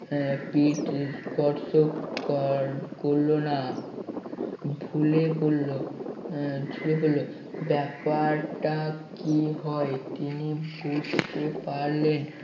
আহ পিঠ স্পর্শ কর~ করলো না ঝুলে পড়লো ঝুলে পড়লো ব্যাপারটা কি হয় তিনি বুঝতে পারলেন